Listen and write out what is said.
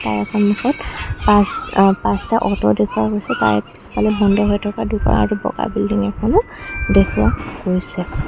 তাৰে সন্মুখত পাঁচ আ পাঁচটা আটো দেখুওৱা হৈছে তাৰে পিছফালে বন্ধ হৈ থকা দোকান আৰু বগা বিল্ডিং এখনো দেখুওৱা হৈছে